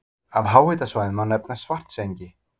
Af háhitasvæðum má nefna Svartsengi.